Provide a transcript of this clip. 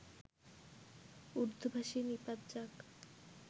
উর্দুভাষী নিপাত যাক